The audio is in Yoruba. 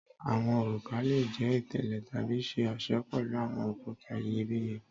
Awọn oruka le jẹ itele tabi ṣe ọṣọ pẹlu awọn okuta iyebiye